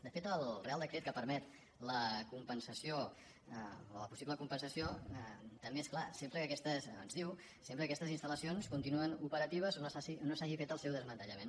de fet el reial decret que permet la compensació la possible compensació també és clar ens diu sempre que aquestes installacions continuïn operatives o que no s’hagi fet el seu desmantellament